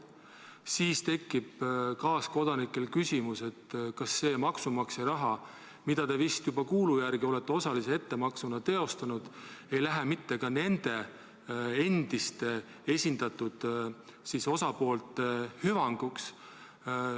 Kaaskodanikel tekib sel juhul küsimus, kas see maksumaksja raha, mille te vist kuulu järgi olete osalise ettemaksuna juba ära maksnud, ei lähe mitte ka nende endiste esindatud osapoolte hüvanguks.